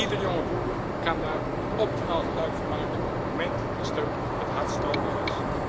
Iedere jonge boer kan daar optimaal gebruik van maken op het moment dat de steun het hardst nodig is.